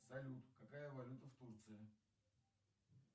салют какая валюта в турции